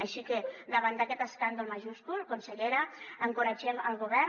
així que davant d’aquest escàndol majúscul consellera encoratgem el govern